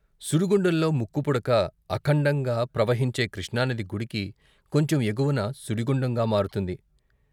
సుడిగుండంలో ముక్కుపుడక అఖండంగా ప్రవహించే కృష్ణానది గుడికి కొంచెం ఎగువన సుడిగుండంగా మారుతుంది.